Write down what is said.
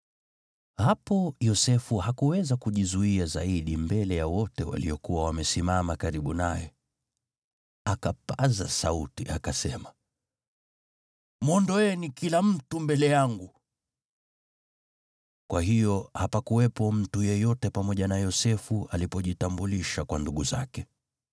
Hapo Yosefu hakuweza kujizuia zaidi mbele ya wote waliokuwa wamesimama karibu naye, akapaza sauti, akasema, “Mwondoeni kila mtu mbele yangu!” Kwa hiyo hapakuwepo mtu yeyote pamoja na Yosefu alipojitambulisha kwa ndugu zake.